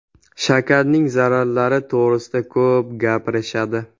Shakarning zararlari to‘g‘risida ko‘p gapirishadi.